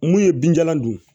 Mun ye binjalan don